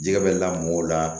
Jɛgɛ bɛ lamɔ la